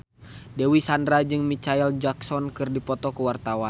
Dewi Sandra jeung Micheal Jackson keur dipoto ku wartawan